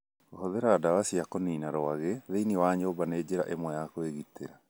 Kũhũthĩra ndawa cia kũniina rwagĩ thĩinĩ wa nyũmba nĩ njĩra ĩmwe ya kwĩgitĩra.